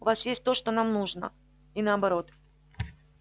у вас есть то что нам нужно и наоборот